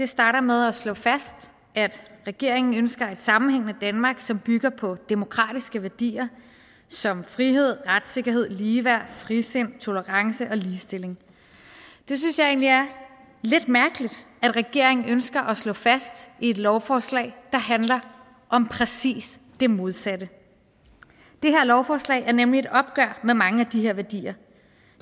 starter med at slå fast at regeringen ønsker et sammenhængende danmark som bygger på demokratiske værdier som frihed retssikkerhed ligeværd frisind tolerance og ligestilling det synes jeg egentlig er lidt mærkeligt at regeringen ønsker at slå fast i et lovforslag der handler om præcis det modsatte det her lovforslag er nemlig et opgør med mange af de her værdier